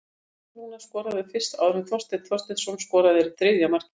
Hafsteinn Rúnar skoraði fyrst áður en Þorsteinn Þorsteinsson skoraði þriðja markið.